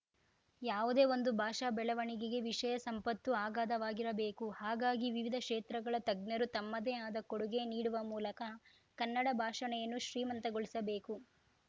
ಯಾವುದೇ ಒಂದು ಭಾಷಾ ಬೆಳವಣಿಗೆಗೆ ವಿಷಯ ಸಂಪತ್ತು ಅಗಾಧವಾಗಿರಬೇಕು ಹಾಗಾಗಿ ವಿವಿಧ ಕ್ಷೇತ್ರಗಳ ತಜ್ಞರು ತಮ್ಮದೇ ಆದ ಕೊಡುಗೆ ನೀಡುವ ಮೂಲಕ ಕನ್ನಡ ಭಾಷಣೆಯನ್ನು ಶ್ರೀಮಂತಗೊಳಿಸಬೇಕು